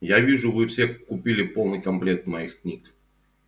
я вижу вы все купили полный комплект моих книг